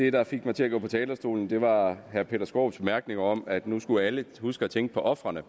det der fik mig til at gå på talerstolen var herre peter skaarups bemærkning om at nu skulle alle huske at tænke på ofrene